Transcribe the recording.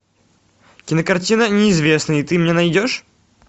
кинокартина неизвестный ты мне найдешь